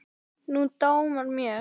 Nú dámar mér!